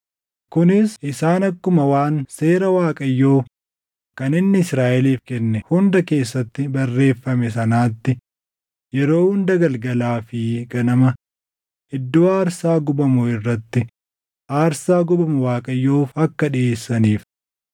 kunis isaan akkuma waan Seera Waaqayyoo kan inni Israaʼeliif kenne hunda keessatti barreeffame sanaatti yeroo hunda galgalaa fi ganama iddoo aarsaa gubamuu irratti aarsaa gubamu Waaqayyoof akka dhiʼeessaniif.